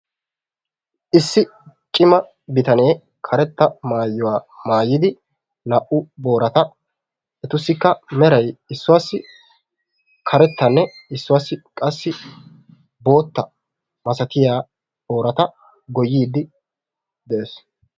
Issi cima bitanee karetta mayuwaa maayidi naa'u borata etussika meray issuwaassi karettanne issuwaassi qassi bootta masatiyaa boorata goyiiddi des.